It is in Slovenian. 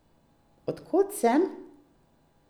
Od kod sem?